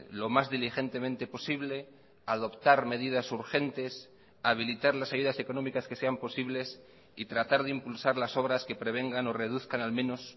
lo más diligentemente posible adoptar medidas urgentes habilitar las ayudas económicas que sean posibles y tratar de impulsar las obras que prevengan o reduzcan al menos